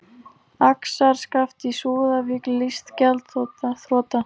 Axarskaft í Súðavík lýst gjaldþrota